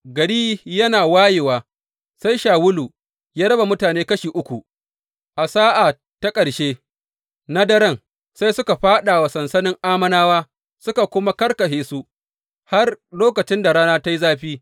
Gari yana wayewa, sai Shawulu ya raba mutane kashi uku, a sa’a ta ƙarshe na daren sai suka fāɗa wa sansanin Ammonawa, suka kuma karkashe su har lokacin da rana ta yi zafi.